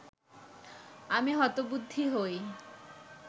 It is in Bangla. আমি হতবুদ্ধি হই